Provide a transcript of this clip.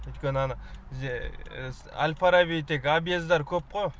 өйткені ана бізде әл фараби тек объездар көп қой